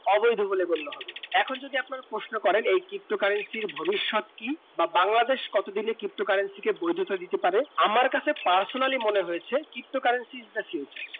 অবৈধ বলে গণ্য হবে এখন যদি আপনি প্রশ্ন করেন এই ptocurrency ভবিষৎ কি বা বাংলাদেশ কত দিলে ptocurrency বৈধতা দিতে পারে আমার কাছে personal মনে হয়েছে ptocurrency হচ্ছে future